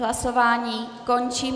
Hlasování končím.